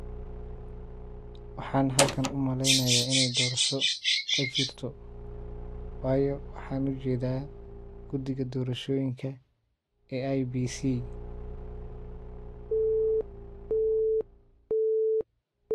Waxaan halkan u maleynayaa inay doorasho ka jirto waayo waxaan u jeedaa guddiga doorashooyinka ee IEBC.